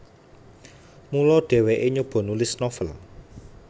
Mula dhèwèké nyoba nulis novel